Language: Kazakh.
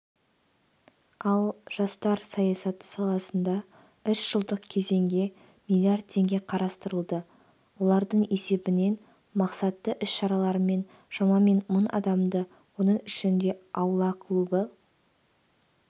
ал жастар саясаты саласында үш жылдық кезеңге млрд теңге қарастырылды олардың есебінен мақсатты іс-шаралармен шамамен мың адамды оның ішінде аула клубы